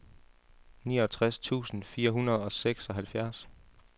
niogtres tusind fire hundrede og seksoghalvfjerds